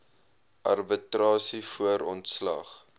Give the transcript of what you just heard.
arbitrasie voor ontslag